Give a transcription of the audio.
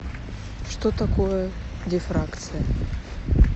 что такое дифракция